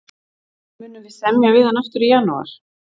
Munum við semja við hann aftur í janúar?